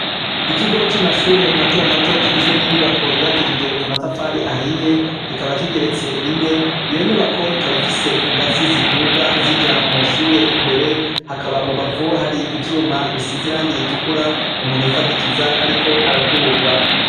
Ikigo c'amashure matomato kigizwe n'inyubako yubakishije amatafari ahiye kikaba kigeretse rimwe iyo nyubako ikaba ifise ingazi ziduga zija mushure imbere hakaba mubavu hari ivyuma bisizirangiritukura umuntu yifadikiza, ariko araduga.